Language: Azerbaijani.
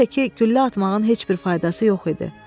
Bir də ki, güllə atmağın heç bir faydası yox idi.